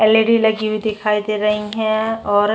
L. E. D. लगी हुई दिखाई दे रही है और --